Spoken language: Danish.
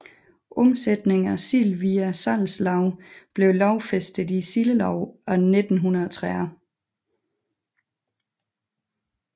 Omsætningen af sild via salgslag blev lovfæstet i Sildeloven af 1930